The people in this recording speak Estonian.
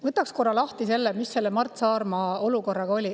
Võtan korra lahti selle, mis olukord Mart Saarmaga oli.